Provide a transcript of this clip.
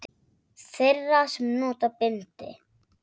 Þeirra sem nota bindi?